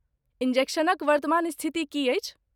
इन्जेक्शनक वर्तमान स्थिति की अछि?